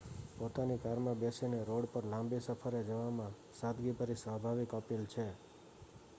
પોતાની કારમાં બેસીને રોડ પર લાંબી સફરે જવામાં સાદગીભરી સ્વાભાવિક અપીલ છે